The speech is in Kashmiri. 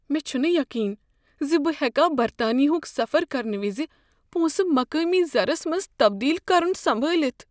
مےٚ چھنہٕ یقین بہ ہٮ۪کا برطانیہ ہک سفر کرنہٕ وز پونٛسہٕ مقٲمی زرس منٛز تبدیٖل کرن سمبٲلِتھ۔